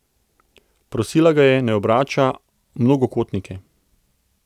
Prosila ga je, naj obrača mnogokotnike.